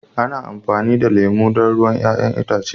ana amfani da lemu don ruwan 'ya'yan itace